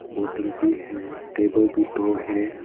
बोतल भी है टेबल भी दो है।